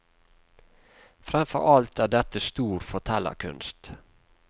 Fremfor alt er dette stor fortellerkunst.